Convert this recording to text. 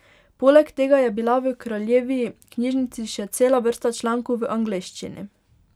Poleg tega je bila v kraljevi knjižnici še cela vrsta člankov v angleščini.